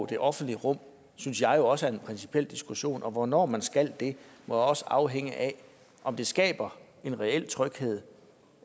det offentlige rum synes jeg jo også kræver en principiel diskussion og hvornår man skal det må også afhænge af om det skaber en reel tryghed